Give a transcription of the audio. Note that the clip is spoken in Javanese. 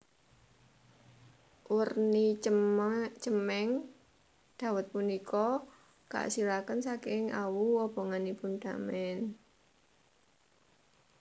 Werni cemeng dawet punika kaasilaken saking awu obonganipun damen